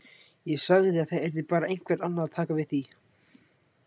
Ég sagði að það yrði bara einhver annar að taka við því.